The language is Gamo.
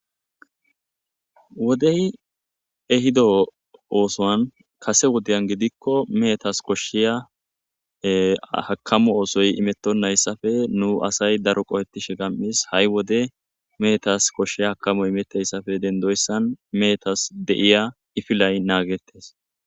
wodey ehido oosoan kase wodiyan gidikko meetas koshshiya hakamu oosoy imettonnayssafe nu asay daroqo hettishe gam7is ha7i wode meetas koshsheya hakamo imetteyssafe dendoyssan meetas deiya ifilay naagettes